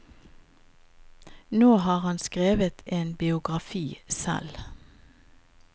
Nå har han skrevet en biografi selv.